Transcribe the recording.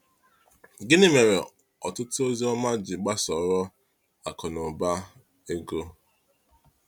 Gịnị mere ọtụtụ ozi ọma ji gbasoro akụ na ụba ego?